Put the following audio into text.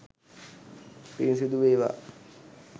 පින් සිදු වේවා!